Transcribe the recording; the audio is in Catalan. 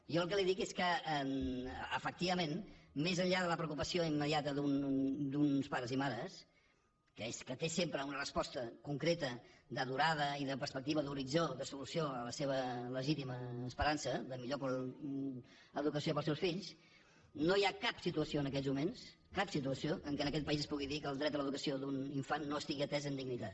jo el que li dic és que efectivament més enllà de la preocupació immediata d’uns pares i mares que és que té sempre una resposta concreta de durada i de perspectiva d’horitzó de solució a la seva legítima esperança de millor educació per als seus fills no hi ha cap situació en aquests moments cap situació en què en aquest país es pugui dir que el dret a l’educació d’un infant no estigui atès amb dignitat